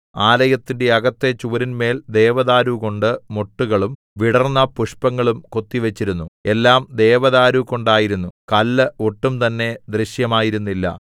ആലയത്തിന്റെ അകത്തെ ചുവരിന്മേൽ ദേവദാരുകൊണ്ട് മൊട്ടുകളും വിടർന്ന പുഷ്പങ്ങളും കൊത്തിവച്ചിരുന്നു എല്ലാം ദേവദാരുകൊണ്ടായിരുന്നു കല്ല് ഒട്ടും തന്നെ ദൃശ്യമായിരുന്നില്ല